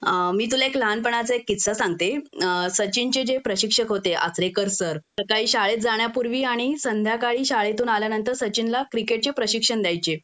अ मी तुला एक लहान पणाचा एक किस्सा सांगते अ सचिनचे जे प्रशिक्षक होते आचरेकर सर सकाळी शाळेत जाण्यापूर्वी आणि संध्याकाळी शाळेतून आल्यानंतर सचिनला क्रिकेटचे प्रशिक्षण द्यायचे